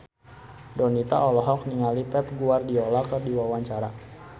Donita olohok ningali Pep Guardiola keur diwawancara